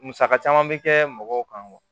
Musaka caman bɛ kɛ mɔgɔw kan